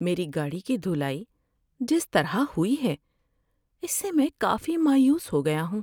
میری گاڑی کی دھلائی جس طرح ہوئی ہے اس سے میں کافی مایوس ہو گیا ہوں۔